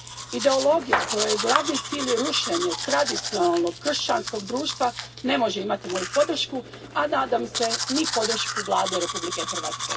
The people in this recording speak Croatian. Ideologija kojoj je glavni cilj rušenje tradicionalnog kršćanskog društva ne može imati moju podršku, a nadam se ni podršku Vlade Republike Hrvatske.